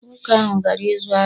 Nwoke ahụ gara ịzụ ahịa